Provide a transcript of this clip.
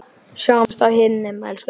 Sjáumst á himnum, elsku pabbi.